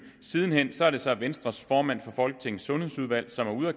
siden hen er det så venstres formand for folketingets sundhedsudvalg som